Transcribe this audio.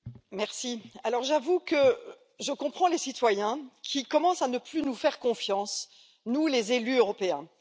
Monsieur le Président, j'avoue que je comprends les citoyens qui commencent à ne plus nous faire confiance, à nous, les élus européens.